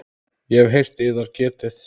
Ég hef heyrt yðar getið.